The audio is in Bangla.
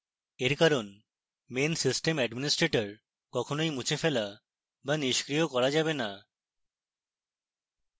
এর কারণ main system administrator কখনই মুছে ফেলা be নিষ্ক্রিয় করা যাবে না